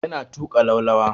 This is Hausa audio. Yana tuƙa laulawa.